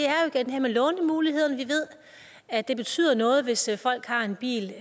her med lånemulighederne vi ved at det betyder noget hvis folk har en bil